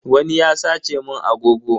Wani ya sace mun agogo.